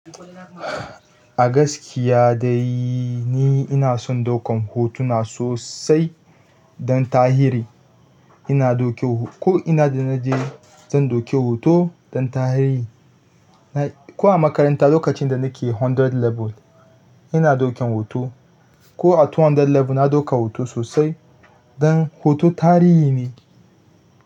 A gaskiya dai ni ina son ɗaukan hotuna sosai don tahiri. Ina ɗauke ko ina da naje zan ɗauke hoto don tarihi. Ko a makaranta lokacin da nake hundred level ina dauken hoto, ko a ɗari biyu level na ɗauka hoto sosai don hoto tarihi ne.